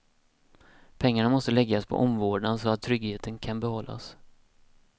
Pengarna måste läggas på omvårdnad så att tryggheten kan behållas.